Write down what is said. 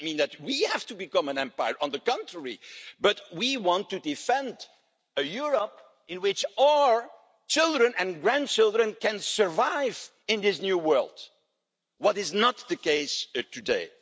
That doesn't mean that we have to become an empire on the contrary but we want to defend a Europe in which our children and grandchildren can survive in this new world, which is not the case today.